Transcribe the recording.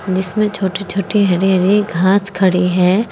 जिसमें छोटी छोटी हरी हरी घास खड़ी है।